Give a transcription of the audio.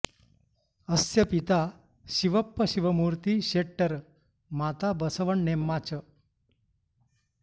अस्य पिता शिवप्प शिवमूर्ति शेट्टर् माता बसवण्णेम्मा च